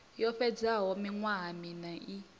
yo fhedzaho miṅwaha miṋa i